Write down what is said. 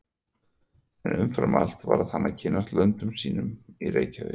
En umfram allt varð hann að kynnast löndum sínum í Reykjavík.